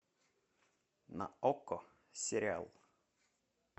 на окко сериал